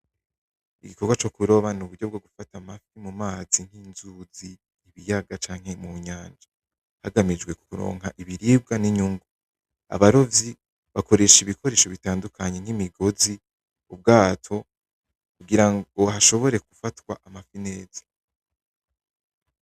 Igikogwa co kuroba n'uburyo bwo gufata amafi mu mazi nk'inzuzi; ibiyaga; canke mu nyanja hagamijwe kuronka ibiribwa n'inyungu, abarovyi bakoresha ibikoresho bitandukanye nk'imigozi; ubwato kugira ngo hashobore gufatwa amafi neza.